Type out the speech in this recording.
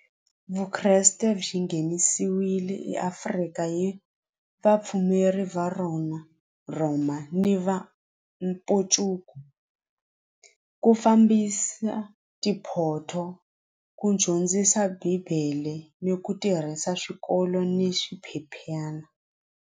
Vukreste byi nghenisewile eAfrika hi vapfumeri va rona Roma ni va ku fambisa tiphotho ku dyondzisa bibele ni ku tirhisa swikolo ni swiphephyana.